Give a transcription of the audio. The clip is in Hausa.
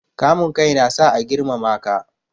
Kamun kai na sa a girmama ka.